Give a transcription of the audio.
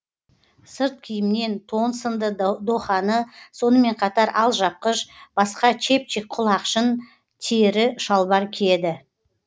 сырт киімнен тон сынды доханы сонымен қатар алжапқыш басқа чепчик құлақшын тері шалбар киеді